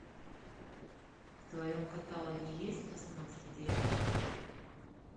в твоем каталоге есть тасманский дьявол